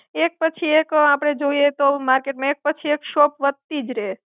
એક પછી એક આપણે જોઈએ તો માર્કેટમાં એક પછી એક શોપ વધતી જ રહે.